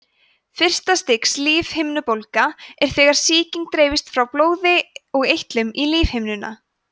fyrsta stigs lífhimnubólga er þegar sýking dreifist frá blóði og eitlum í lífhimnuna